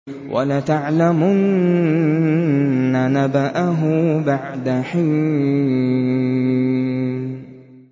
وَلَتَعْلَمُنَّ نَبَأَهُ بَعْدَ حِينٍ